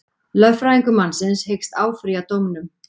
Lögfræðingur mannsins hyggst áfrýja dómnum